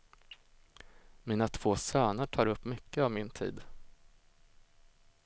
Mina två söner tar upp mycket av min tid.